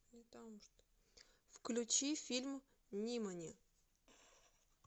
включи фильм нимани